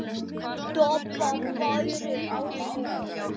Doppa bærir á sér.